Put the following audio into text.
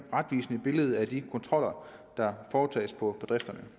retvisende billede af de kontroller der foretages på bedrifterne